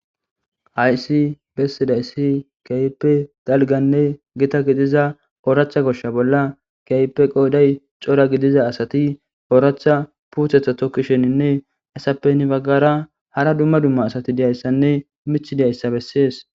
Haysi bessidayssi kaype dalganne gita gidiza ooracha goshsha bolla kaype qooday cora gidiza asati ooracha puuthetha tokkisheninne asappeni baggara hara dumma dumma asati diyayssanne mich deayssa bessees